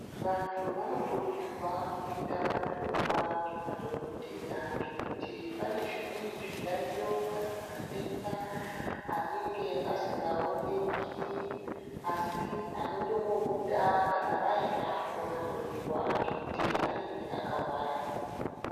Vantu vano kurudzirwa kuenda ko hloyiwa ne madhokodheya ngekuti pane zvimweni zvi yayiyo kana madenda anenge asinga oneki asi anotongo buda kana vaenda ko hloyiwa ngekuti anenge aka hwara.